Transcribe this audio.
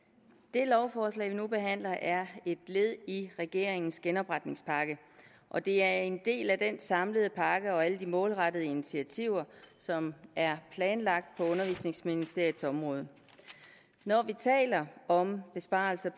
det lovforslag vi nu behandler er et led i regeringens genopretningspakke og det er en del af den samlede pakke og alle de målrettede initiativer som er planlagt på undervisningsministeriets område når vi taler om besparelser